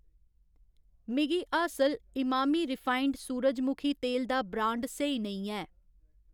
मिगी हासल इमामी रिफाइंड सूरजमुखी तेल दा ब्रांड स्हेई नेईं ऐ